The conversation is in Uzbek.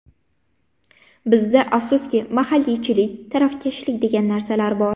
Bizda, afsuski, mahalliychilik, tarafkashlik degan narsalar bor.